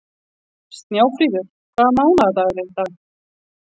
Snjáfríður, hvaða mánaðardagur er í dag?